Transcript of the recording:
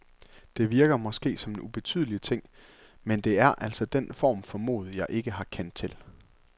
Det virker måske som en ubetydelig ting, men det er altså den form for mod, jeg ikke har kendt til.